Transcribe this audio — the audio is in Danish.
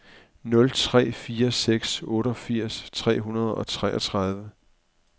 nul tre fire seks otteogfirs tre hundrede og toogtredive